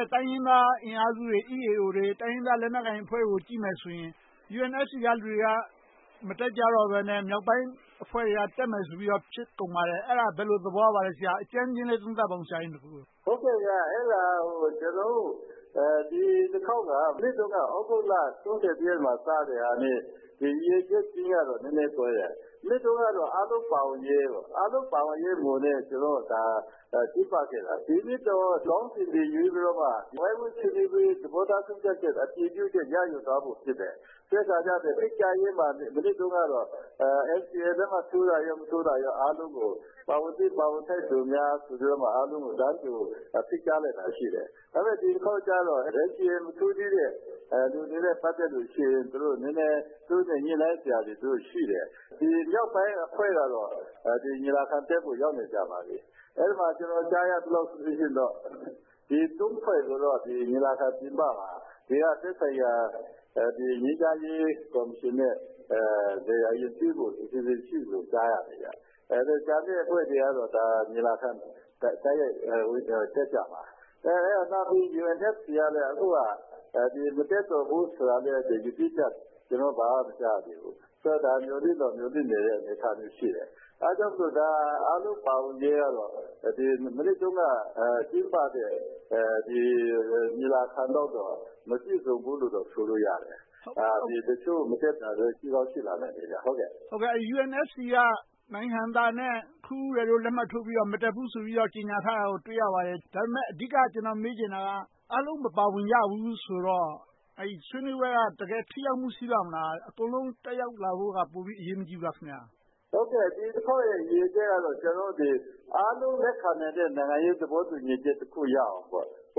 ဲ့ တိုင်းရင်းသားအင်အားစုတွေ၊ EAO, တိုင်းရင်းသားလက်နက်ကိုင်အဖွဲ့တွေကို ကြည့်မယ်ဆိုရင် UNFC က လူတွေက မတက်ကြတော့ဘဲနဲ့ မြောက်ပိုင်းအဖွဲ့တွေက တက်မယ်ဆိုပြီးတော့ ဖြစ်ကုန်ပါတယ်။ အဲဒါ ဘယ်လိုသဘောရပါလဲ။ အကြမ်းဖျဉ်းလေး သုံးသပ်ပါအုံး။ အဲဒါ ကျနော်တို့ ဒီတခေါက်က လွှတ်တော်က သြဂုတ်လ ရက်နေ့မှ စတာနဲ့… နည်းနည်းကွဲတယ်။ မနှစ်တုန်းကတော့ အားလုံးပါဝင်ရေးမူနဲ့ ကျင်းပခဲ့တာ။ ဒီနှစ်တော့… မြောက်ပိုင်းအဖွဲ့က ညီလာခံထဲကို ရောက်နေပါပြီ။ အဲဒီမှာ ကျနော် ကြားရသလောက်ဆိုရင် ဖွဲ့ဆိုတာ ညီလာခံ ပြင်ပမှာ… အားလုံးပါဝင်ရေးကတော့ မနှစ်တုန်းက ကျင်းပတဲ့ ညီလာခံလုပ်တုန်းက မပြည့်စုံဘူးလို့ပဲ ဆိုလိုရတယ်။ တချို့ မတက်တာတွေလည်း ရှိကောင်းရှိပါလိမ့်။ UNFC က နိုင်ဟံသာနဲ့ ခွန်ဦးရယ်တို့ လက်မှတ်ထိုးပြီး မတက်ဘူးဆိုပြီး လက်မှတ်ထိုးပြီး ကြေညာထားတာကို တွေ့ရပါတယ်။ အဓိက ကျနော် မေးချင်တာက အားလုံးမပါဝင်ကြဘူးဆိုတော့ ဆွေးနွေးပွဲက တကယ်ထိရောက်မှု ရှိပါ့မလား။ အကုန်လုံး တက်ရောက်လာဖို့က ပိုပြီးအရေးမကြီးဘူးလား။ ရည်ရွယ်ချက်က အားလုံးလက်ခံတဲ့ နိုင်ငံရေးသဘောတူညီချက် တခုရအောင်ပေါ့။ -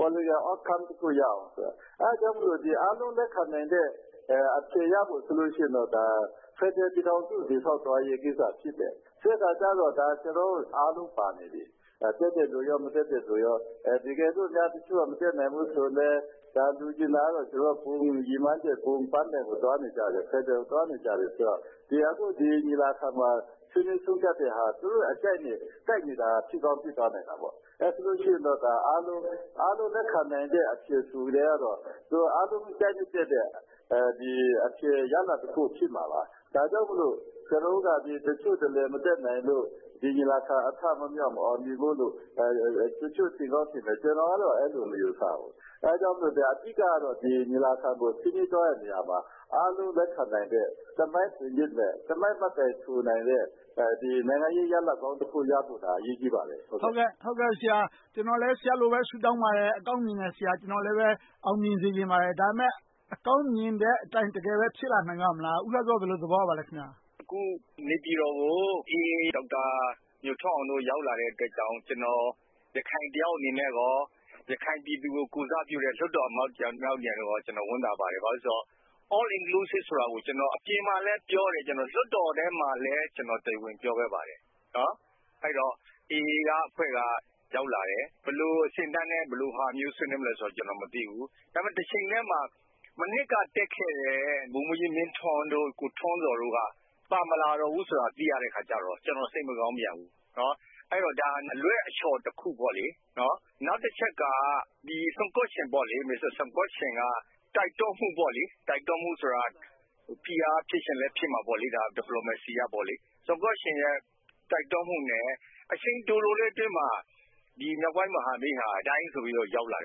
Outcome တခု ရအောင်အတွက်။ အားလုံးလက်ခံတဲ့ အဖြေရဖို့အတွက်ဆိုရင် ဖယ်ဒရယ်ပြည်ထောင်စု တည်ဆောက်သွားရေးကိစ္စ ဖြစ်တယ်။ ဖယ်ဒရယ်ကြတော့ အားလုံးပါနေပြီ။ တက်တဲ့လူနဲ့ မတက်တဲ့လူနဲ့။ တကယ်လို့ အဖွဲ့အစည်းတခု မတက်နိုင်ဘူးဆိုရင်လဲ၊ လိုချင်တာက ဘုံရည်မှန်းချက်၊ ဘုံပန်းတိုင်ကို သွားနေကြတာ ဖယ်ဒရယ်ကို သွားနေကြတာ။ ဒီညီလာခံမှာ ဆွေးနွေးသုံးသပ်တဲ့ဟာ သူတို့ရဲ့အကြိုက်နဲ့ ကိုက်ညီတာ ဖြစ်ကောင်းဖြစ်သွားနိုင်တာပေါ့။ အားလုံးလက်ခံ ကြိုက်နှစ်သက်တဲ့ အဖြေရလဒ်တခု ရရှိမှာပါ။ ဒါကြောင့်မို့ ကျနော်တို့က တချို့တလေ မတက်နိုင်လို့ ဒီညီလာခံ အထမမြောက်၊ မအောင်မြင်နိုင်ဘူးလို့ တချို့ ထင်ကောင်းထင်မယ်။ ကျနော်ကတော့ အဲဒီလို မယူဆဘူး။ ဒါကြောင့်မို့ အဓိကတော့ ဒီညီလာခံကို အားလုံးလက်ခံနိုင်တဲ့ သမိုင်းထင်ရစ်မယ့်၊ သမိုင်းမှတ်တိုင်ထူနိုင်တဲ့ နိုင်ငံရေးရလဒ်ကောင်းတခု ရဖို့ အရေးကြီးပါတယ်။ ကျနော်လည်း ဆရာလိုပဲ ဆုတောင်းပါတယ်။ အကောင်းမြင်တဲ့ ဆရာ။ ကျနော်လည်း အောင်မြင်စေချင်ပါတယ်။ ဒါပေမဲ့ အကောင်းမြင်တဲ့အတိုင်း တကယ်ပဲ ဖြစ်လာနိုင်ပါ့မလား။ ဦးလှစော ဘယ်လို သဘောရပါလဲ။ အခုနေပြည်တော်ကို AA တပ်သား ညိုထွန်းအောင်တို့ ရောက်လာတဲ့အတွက်ကြောင့်မို့ ကျနော် ရခိုင်တယောက်အနေနဲ့ကော၊ ရခိုင်ပြည်သူတွေကို ကိုယ်စားပြုတဲ့ လွှတ်တော်အမတ်တယောက်အနေနဲ့ ဝမ်းသာပါတယ်။ ဘာဖြစ်လို့လဲဆိုတော့ All Inclusive ဆိုတာ ကျနော် အပြင်မှာလည်းပြောတယ်။ လွှတ်တော်ထဲမှာလည်း တရားဝင် ကျနော် ပြောပါတယ်။ အဲဒီတော့ AA အဖွဲ့ ရောက်လာတယ်။ ဘယ်လို အဆင့်အတန်းနဲ့ ဘယ်လိုဟာမျိုး ဆွေးနွေးမလဲဆိုတာ ကျနော် မသိဘူး။ ဒါပေမဲ့ တချိန်တည်းမှာ မနှစ်ကတက်ခဲ့တဲ့ ဗိုလ်မှူးကြီးမင်းထွန်း၊ ကိုထွန်းဇော်တို့က ပါမလာတော့ဘူးဆိုတာ သိရတဲ့အခါကြတော့ ကျနော် စိတ်မကောင်းပြန်ဘူး။ ဒါဟာ အလွှဲအချော်တခုပေါ့။ နောက်တချက်က --- မစ္စတာဆွန်ကော့ရှင် --- တိုက်တွန်းမှုဆိုတာ ဖိအားဖြစ်ချင်လဲဖြစ်မှာပေါ့ - Diplomacy အရ။ ဆွန်ကော့ရှင်ရဲ့ တိုက်တွန်းမှုနဲ့ အချိန်တိုတိုလေးအတွင်းမှာ မြောက်ပိုင်းမဟာမိတ်ဟာ ဒိုင်းဆိုရောက်လာတ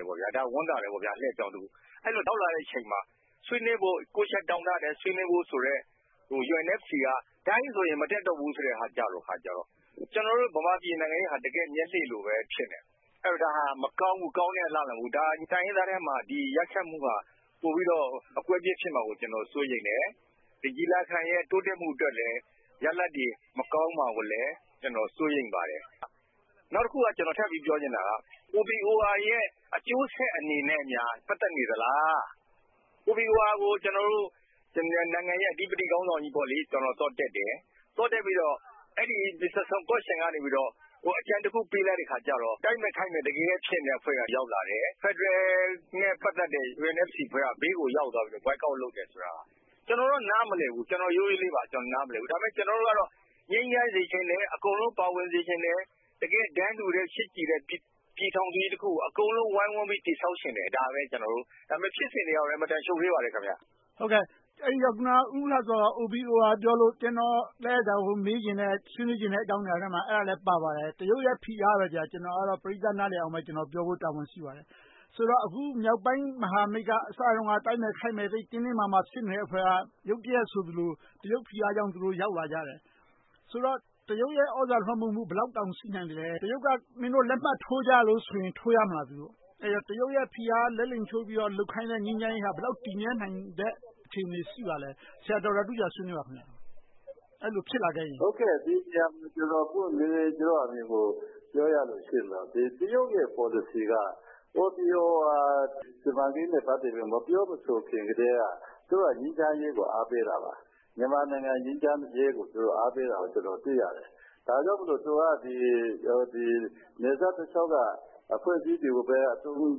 ယ်။ ဒါ ဝမ်းသာတယ်။ အလှဲ့အပြောင်းတခု။ အဲဒီလို ရောက်လာတဲ့အချိန်မှာ ချက်တောင်းထားတဲ့ ဆွေးနွေးဖို့ဆိုတဲ့ UNFC က ဒိုင်းဆိုရင် မတက်တော့ဘူးဆိုတဲ့ဟာကြတော့ ကျနော်တို့ ဗမာပြည်နိုင်ငံရေးဟာ တကယ့် မျက်လှည့်လိုပဲ ဖြစ်နေတယ်။ ဒါဟာ မကောင်းဘူး၊ ကောင်းတဲ့အလားအလာ မဟုတ်ဘူး။ တိုင်းရင်းသားထဲမှ ဒီရက်စက်မှုဟာ ပိုပြီးတော့ အကွဲအပြဲ ဖြစ်မှာကို စိုးရိမ်တယ်။ ဒီညီလာခံရဲ့ တိုးတက်မှုအတွက်လည်း ရလဒ်တွေ မကောင်းမှာကိုလည်း ကျနော် စိုးရိမ်ပါတယ်။ နောက်တခု ကျနော် ထပ်ပြီးပြောချင်တာက OBOR ရဲ့ အကျိုးဆက်အနေနဲ့များ ပတ်သက်နေလား။ OBOR ကို ကျနော်တို့ နိုင်ငံရေးရဲ့ အဓိပတ္တိခေါင်းဆောင်ကြီး သွားတက်တယ်။ သွားတက်ပြီးတော့ မစ္စတာဆန်ကော့ရှင်ကနေ အကြံတခု ပေးလိုက်တဲ့အခါကြတော့ တိုက်မယ့်ခတ်မတ် တကဲကဲ ဖြစ်နေတဲ့ အဖွဲ့တွေက ရောက်လာတယ်။ ဖယ်ဒရယ်နဲ့ ပတ်သက်တဲ့ UNFC အဖွဲ့က ဘေးကိုရောက်လာတယ်။ Boycott လုပ်တယ်ဆိုတာ ကျနော်တော့ နားမလည်ဘူး။ ရိုးရိုးလေးပါ။ ဒါပေမဲ့ ကျနော်တို့ကတော့ ငြိမ်းချမ်းစေချင်တယ်။ အကုန်လုံး ပါဝင်စေချင်တယ်။ တကယ့် တန်းတူ၊ ချစ်ကြည်တယ်၊ ပြည်ထောင်စုကြီးတခုကို အကုန်လုံး ဝိုင်းဝန်းပြီး တည်ဆောက်ချင်တယ်။ ဒါပဲ ကျနော်တို့က။ ဖြစ်စဉ်တွေက အင်မတန် ရှုပ်ထွေပါတယ်။ အဲဒီတော့ ဦးလှစော က OBOR ပြောလို့။ ကျနော်လည်း ဒါကို မေးချင်တဲ့၊ ဆွေးနွေးချင်တဲ့ အကြောင်းအရာထဲမှာ အဲဒါလဲပါပါတယ်။ တရုတ်ရဲ့ ဖိအားပဲ -- ကျနော်ကတော့ ပရိသတ် နားလည်အောင်ပြောဖို့ တာဝန်ရှိပါတယ်။ ဆိုတော့ အခု မြောက်ပိုင်းမဟာမိတ်က အစတုန်းက တိုက်မယ်ခိုက်မယ် သိပ်တင်းတင်းမာမာ ဖြစ်နေတဲ့အဖွဲ့က ရုတ်တရက်ဆိုသလို တရုတ်ဖိအားကြောင့် သူတို့ ရောက်လာကြတယ်။ ဆိုတော့ တရုတ်ရဲ့ သြဇာလွှမ်းမိုးမှု၊ ဘယ်လောက်တောင် ရှိနိုင်မလဲ။ တရုတ်က မင်းတို့ လက်မှတ်ထိုးကြလို့ဆိုရင် သူတို့ ထိုးကြမလား။ တရုတ်ရဲ့ ဖိအား လက်လိမ်ချိုးပြီးတော့ လုပ်ခိုင်းတဲ့ ငြိမ်းချမ်းရေးက ဘယ်လောက် တည်မြဲနိုင်မယ့် အခြေအနေ ရှိပါလဲ။ ဒေါက်တာတူးဂျာ ဆွေးနွေးပါ။ ကျနော့်အမြင်ကို ပြောရမယ်ဆိုရင် တရုတ်ရဲ့ ပေါ်လစီက.. မပြောမဆိုခင်ကတည်းက သူတို့က ငြိမ်းချမ်းရေးကို အားပေးတာပါ။ မြန်မာနိုင်ငံ ငြိမ်းချမ်းရေးကို သူတို့အားပေးတာကို တွေ့ရတယ်။ ဒါကြောင့်မို့ သူက နယ်စပ်တလျှောက်က အဖွဲ့အစည်းတွေကို အသုံး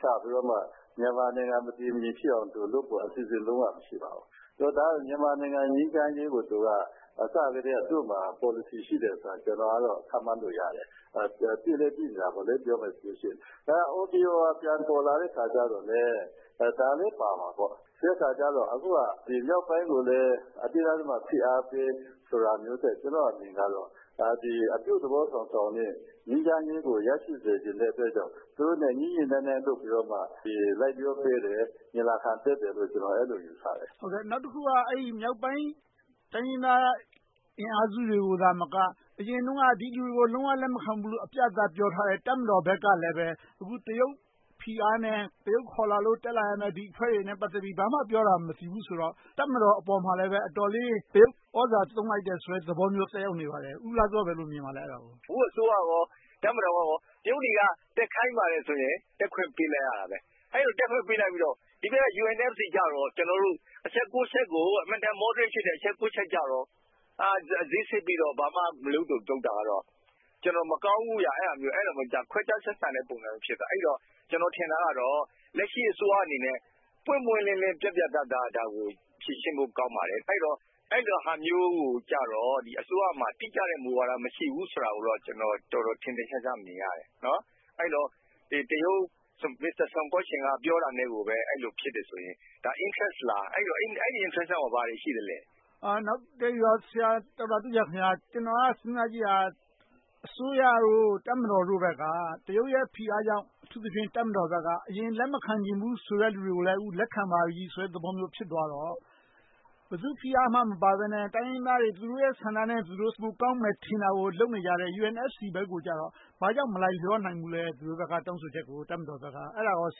ချပြီးတော့ မြန်မာနိုင်ငံ မတည်မငြိမ်ဖြစ်အောင်လုပ်ဖို့ သူတို့မှာ အစီအစဉ် လုံးဝမရှိပါဘူး။ မြန်မာနိုင်ငံ ငြိမ်းချမ်းရေးကို သူက အစကတည်းက သူ့မှာ ပေါ်လစီရှိတယ်ဆိုတာ ကျနော်ကတော့ ခန့်မှန်းလို့ရတယ်။ သိလည်းသိနေတာပေါ့ ပြောမယ်ဆိုရင်။ OBOR ပြန်ပေါ်လာတဲ့အခါကြတော့လဲ ဒါလဲ ပါမှာပေါ့။ ဆိုတဲ့အခါကြတော့ အခုက မြောက်ပိုင်းကိုလည်း အတင်းအဓမ္မ ဖိအားပေးဆိုတာမျိုးထက် ကျနော့်အမြင်က အပြုသဘောဆောင်တဲ့ ငြိမ်းချမ်းရေးကို ရရှိစေချင်တဲ့အတွက် သူတို့နဲ့ ညှိညှိနှိုင်းနှိုင်း လုပ်ပြီးမှ လိုက်လျောပြီး ညီလာခံတက်တယ်လို့ အဲဒီလို ကျနော် ယူဆတယ်။ နောက်တခုက မြောက်ပိုင်းတိုင်းရင်းသား အင်အားစုတွေကသာမက အရင်တုန်းက ဒီလူတွေကို လုံးဝလက်မခံဘူးလို့ အပြတ်အသတ် ပြောထားတဲ့ တပ်မတော်ဘက်ကလဲ အခု တရုတ်ဖိအားနဲ့ တရုတ်ခေါ်လာလို့ တက်လာတဲ့ ဒီအဖွဲ့နဲ့ ပတ်သက်ပြီး ဘာမှ ပြောတာမသိဘူးဆိုတော့ တပ်မတော်အပေါ်မှာလဲ အတော်လေး တရုတ် သြဇာသုံးလိုက်တယ်ဆိုတဲ့သဘော သက်ရောက်နေပါတယ်။ ဦးလှစော အဲဒါကို ဘယ်လိုမြင်ပါလဲ။ အခု အစိုးရကော၊ တပ်မတော်ကော တရုတ်တွေက တက်ခိုင်းပါတယ်ဆိုရင် တက်ခွင့်ပေးလိုက်ရတာပဲ။ အဲဒီလို တက်ခွင့်ပေးလိုက်ပြီးတော့ ဒီဘက် UNFC ကြတော့ အချက် ချက်ကို အင်မတန် Moderate ဖြစ်တဲ့ အချက် ချက်ကိုတော့ ဈေးဆစ်ပြီးတော့ ဘာမှမလုပ် လုပ်တာမျိုးကြတော့ မကောင်းဘူး။ ခွဲခြားဆက်ဆံတဲ့ ပုံစံမျိုး ဖြစ်သွားတယ်။ အဲဒီတော့ ကျနော် ထင်တာကတော့ လက်ရှိ အစိုးရအနေနဲ့ ပွင့်ပွင့်လင်းလင်း၊ ပြတ်ပြတ်သားသား ဒါကို ဖြေရှင်းဖို့ ကောင်းပါတယ်။ အဲဒီလိုဟာမျိုးကိုကြတော့ အစိုးရမှာ တိကျတဲ့ မူဝါဒ မရှိဘူးဆိုတာကို ထင်ထင်ရှားရှား မြင်ရတယ်။ အဲဒီတော့ တရုတ် မစ္စတာဆန်ကော့ရှင်း က ပြောတာနဲ့ကိုပဲ အဲဒီလို ဖြစ်တယ်ဆိုရင် ဒါက Interest လား။ အဲဒီ Interest က ဘာတွေရှိသလဲ။ နောက်တခုက ဆရာတူးဂျာခင်များ.. ကျနော်က စဉ်းစားကြည့်တာ အစိုးရတို့၊ တပ်မတော်တို့က တရုတ်ရဲ့ ဖိအားကြောင့် အထူးသဖြင့် တပ်မတော်ဘက်က အရင်လက်မခံချင်ဘူးဆိုတဲ့ လူတွေကိုလည်း လက်ခံပါပြီဆိုတဲ့ သဘောမျိုး ဖြစ်သွားတော့၊ ဘယ်သူဖိအားမှ မပါဘဲနဲ့ တိုင်းရင်းသားတွေ သူတို့ရဲ့ ဆန္ဒနဲ့ သူတို့ပိုကောင်းမယ်ထင်တာကို လုပ်နေကြတယ်။ UNFC ဘက်ကိုကြတော့ ဘာကြောင့် မလိုက်လျောနိုင်ဘူးလဲ။ တောင်းဆိုချက်ကို တပ်မတော်ဘက်က။ အဲဒါကို ဆ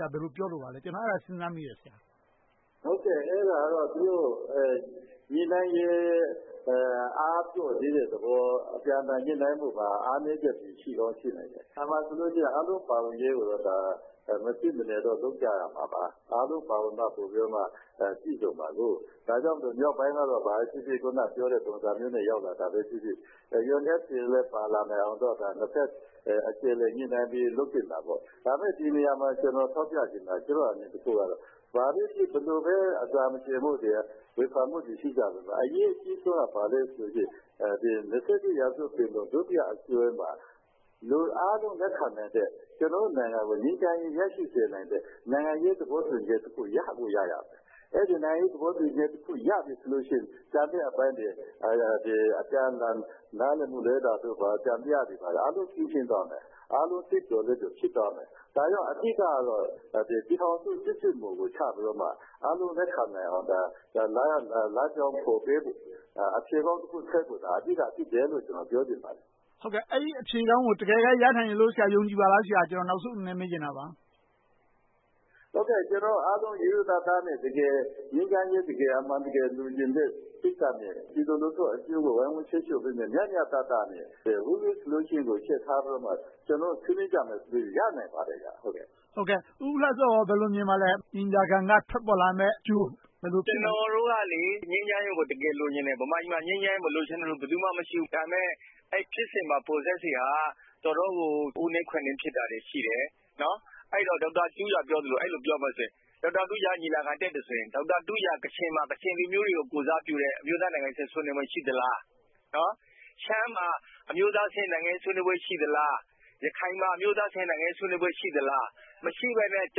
ရာ ဘယ်လို ပြောလိုပါလဲ။ အဲဒါကတော့ သူတို့ ညှိနှိုင်းမှုရဲ့ အားပျော့သေးတဲ့သဘော၊ အပြန်အလှန်ညှိနှိုင်းမှုမှာ အားနည်းချက်တွေ ရှိကောင်းရှိနိုင်ပါတယ်။ အားလုံးပါဝင်ရေးကို မဖြစ်မနေ လုပ်ကြရမှာပါ။ အားလုံးပါဝင်မှ ဖြစ်မှာကို။ ဒါကြောင့် မြောက်ပိုင်းကတော့ ဘာပဲဖြစ်ဖြစ် အခုနပြောတဲ့ ပုံစံမျိုးနဲ့ ရောက်တာပဲဖြစ်ဖြစ်၊ UNFC လည်း ပါလာနိုင်အောင် နှစ်ဘက်အခြေအနေ ညှိနှိုင်းပြီး လုပ်သင့်တာပေါ့။ ဒါပေမဲ့ ဒီနေရာမှာ ကျနော် ထောက်ပြချင်တာက ဘယ်လိုပဲဖြစ်ဖြစ် အစာမကြေ၊ ဝေဖန်မှုတွေ ရှိကြပေမယ့် အရေးကြီးဆုံးက ဘာလဲဆိုရင် ရာစု ပင်လုံ ဒုတိယအစည်းအဝေးမှာ လူအားလုံး လက်ခံနိုင်တဲ့၊ ကျနော်တို့နိုင်ငံကို ငြိမ်းချမ်းရေး ရရှိနိုင်တဲ့ နိုင်ငံရေးသဘောတူညီချက်တခု ရကိုရရမယ်။ အဲဒီ နိုင်ငံရေးသဘောတူညီချက်တခု ရပြီဆိုရင် ကျန်တဲ့အပိုင်းတွေ အပြန်အလှန် နားလည်မှုလွဲတာတို့၊ သံသယတွေ အားလုံးဖြေရှင်းသွားမယ်။ အားလုံးစိတ်ပျော်လက်ပျော် ဖြစ်သွားမယ်။ ဒါကြောင့် အဓိကတော့ ပြည်ထောင်စုစစ်စစ်မူကို ချပြီးမှ အားလုံးလက်ခံနိုင်အောင် လမ်းကြောင်းကိုပေးဖို့၊ အဖြေထွက်ဖို့သာ အဓိကဖြစ်တယ်လို့ ပြောချင်ပါတယ်။ အဲဒီအဖြေကို တကယ်ပဲ ရနိုင်မယ်လို့ တကယ်ပဲ ယုံကြည်ပါလားဆရာ။ ကျနော် နောက်ဆုံးအနေနဲ့ မေးချင်တာပါ။ ကျနော်တို့အားလုံး ရိုးရိုးသားသားနဲ့ တကယ် အမျိုးသားရေး၊ အမှန်တကယ် လိုချင်လို့၊ ပြည်သူလူထုအကျိုးကို ဝိုင်းဝန်ထိန်းချုပ်ပေးမယ့် မျှမျှတတနဲ့… ကျနော်တို့ ဆွေးနွေးကြမယ်ဆိုရင် ရနိုင်ပါတယ်။ ဦးလှစောကော ဘယ်လို မြင်ပါလဲ။ ဒီညီလာခံက ထွက်ပေါ်လာမယ့်အကျိုး ကျနော်တို့ကလေ ငြိမ်းချမ်းရေးကို တကယ်လိုချင်တယ်။ ဗမာပြည်မှာ ငြိမ်းချမ်းရေး မလိုချင်တဲ့လူ ဘယ်သူမှ မရှိဘူး။ ဒါပေမဲ့ ဖြစ်စဉ်မှာ Process တွေက တော်တော်ကို အိုးနင်းခွက်နင်း ဖြစ်တာတွေရှိတယ်။ အဲဒီတော့ ဒေါက်တာတူးဂျာ ပြောသလို အဲဒီလို ပြောမယ်ဆိုရင်… ဒေါက်တာတူးဂျာ ညီလာခံ တက်တယ်ဆိုရင် ဒေါက်တာတူးဂျာက ကချင်မှာ ကချင်လူမျိုးတွေကို ကိုယ်စားပြုတဲ့ အမျိုးသားအဆင့် နိုင်ငံရေးဆွေးနွေးပွဲတွေ ရှိလား။ ရှမ်းမှာ အမျိုးသားအဆင့် နိုင်ငံရေးဆွေးနွေးပွဲတွေ ရှိလား၊ ရခိုင်မှာ အမျိုးသားအဆင့် နိုင်ငံရေးဆွေးနွေးမှုတွေ ရှိလား။ မရှိဘဲနဲ့ ကျ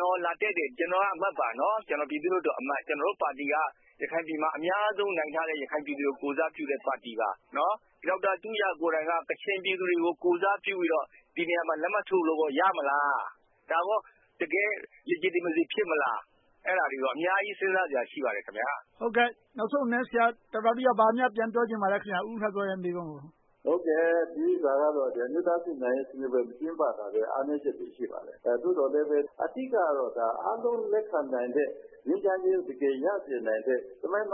နော် လာတက်တယ်။ ကျကျော်က အမတ်ပါ။ ပြည်သူလွှတ်တော်အမတ်။ ကျနော်တို့ပါတီက ရခိုင်ပြည်နယ်မှာ အများဆုံးနိုင်ထားတဲ့ ရခိုင်ပြည်သူတွေ ကိုယ်စားပြုတဲ့ ပါတီပါ။ ဒေါက်တာတူးဂျာကိုယ်တိုင်က ကချင်ပြည်သူတွေကို ကိုယ်စားပြုပြီးတော့ ဒီနေရာမှာ လက်မှတ်ထိုးလုပ်လို့ ရမလား။ တကယ့် Legitimacy ဖြစ်မလား။ အဲဒါတွေနဲ့ အများကြီး စဉ်းစားစရာ ရှိပါတယ်။ ဟုတ်တယ် နောက်ဆုံးအနေနဲ့ ဆရာဒေါက်တာတူးဂျာ ဘာများပြန်ပြောချင်ပါလဲ။ ဦးဟန်ဇော်ရဲ့ မေးခွန်းကို။ ဟုတ်တယ် ဒီဥစ္စာကြတော့ မကျင်းပနိုင်ခဲ့တာ အားနည်းချက်တခု ဖြစ်ပါတယ်။ သို့သော်လဲ အဓိကတော့ အားလုံးလက်ခံနိုင်မယ့်၊ ငြိမ်းချမ်းရေး တကယ်ရစေနိုင်တဲ့ သမိုင်းမ